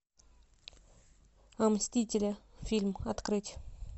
мстители фильм открыть